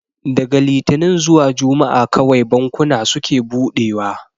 Daga litinin zuwa juma'a kawai bankuna suke buɗewa